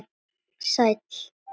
Sæll